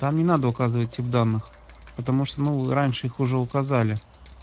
там не надо указывать тип данных ну потому что ну раньше их уже указали